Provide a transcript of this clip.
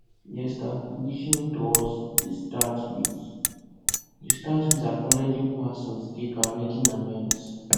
reestablishing trust dey start with dey start with acknowledging past mistakes and making amends